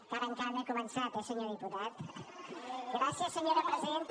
encara encara no he començat eh senyor diputat gràcies senyora presidenta